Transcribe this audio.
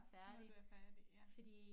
Når du er færdig ja